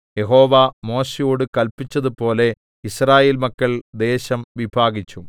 യഹോവ മോശെയോടു കല്പിച്ചതുപോലെ യിസ്രായേൽ മക്കൾ ദേശം വിഭാഗിച്ചു